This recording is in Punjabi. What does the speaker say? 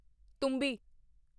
ਤੁੰਬੀ